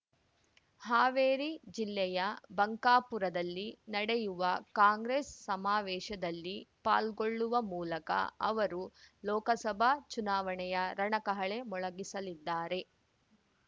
ಹಾವೇರಿ ಜಿಲ್ಲೆಯ ಬಂಕಾಪುರದಲ್ಲಿ ನ‌ಡೆಯುವ ಕಾಂಗ್ರೆಸ್ ಸಮಾವೇಶದಲ್ಲಿ ಪಾಲ್ಗೊಳ್ಳುವ ಮೂಲಕ ಅವರು ಲೋಕಸಭಾ ಚುನಾವಣೆಯ ರಣಕಹಳೆ ಮೊಳಗಿಸಲಿದ್ದಾರೆ